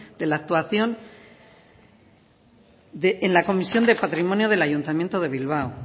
de la actuación en la comisión de patrimonio del ayuntamiento de bilbao